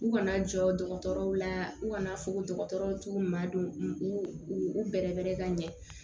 U kana jɔ dɔgɔtɔrɔw la u kana fo dɔgɔtɔrɔw t'u ma don u u u bɛrɛbɛn ka ɲɛ